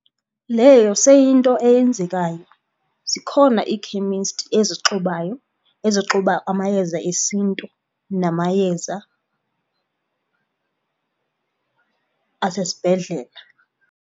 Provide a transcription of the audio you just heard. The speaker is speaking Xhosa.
Leyo seyiyinto eyenzekayo. Zikhona ii-chemist ezixubayo, ezixuba amayeza esiNtu namayeza asesibhedlela.